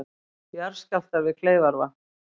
Jarðskjálftar við Kleifarvatn